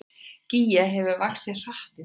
Gígja hefur vaxið hratt í dag